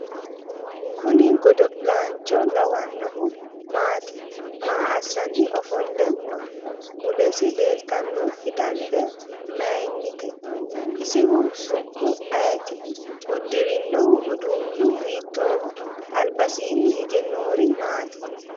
kuni godo'laancho lawannohu maati maa assanni ofolle no mulesi leeltannoti fidalla maayinite isihu su'mu ayeti? uddirinohu uduunnu hiitooho ? albasiinni hige noori maati?